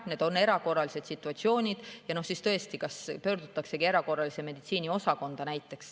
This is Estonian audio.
Need on erakorralised situatsioonid ja siis tõesti pöördutakse näiteks erakorralise meditsiini osakonda.